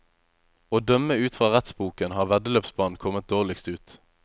Å dømme ut fra rettsboken har veddeløpsbanen kommet dårligst ut.